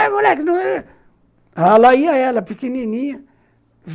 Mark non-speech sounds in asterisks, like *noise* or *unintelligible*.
Ei, moleque... *unintelligible* Lá ia ela, pequenininha.